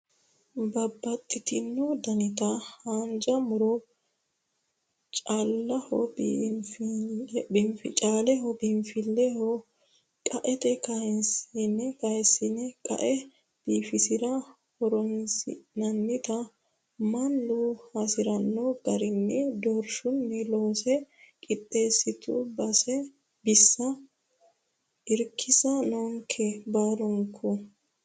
Babbaxitino daniti haanja muro caaleho biinfileho qaete kayisine qae biifisirate horonsi'nannitta mannu hasirano garini doorshunni loosse qixxeesitu bissa irkisa noonke baalinke.